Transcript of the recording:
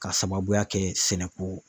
K'a sababuya kɛ sɛnɛko.